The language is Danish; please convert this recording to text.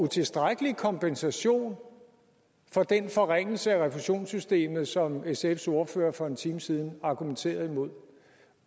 utilstrækkelig kompensation for den forringelse af refusionssystemet som sfs ordfører for en time siden argumenterede imod